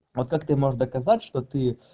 а как ты можешь доказать что ты